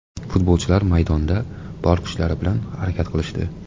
Futbolchilar maydonda bor kuchlari bilan harakat qilishdi.